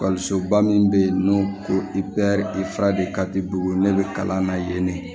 ba min bɛ yen n'o ko i bɛ bugu ne bɛ kalan na yen ne